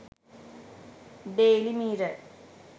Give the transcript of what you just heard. daily mirror